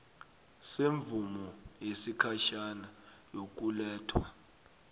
semvumo yesikhatjhana yokulethwa